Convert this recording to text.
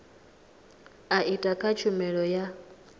a etd kha tshumelo ya